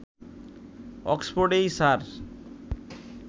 অক্সফোর্ডেই sir